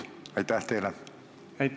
Aitäh!